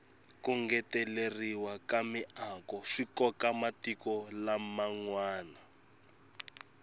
ku ngeteleriwa ka miako swikoka matiko lam nwana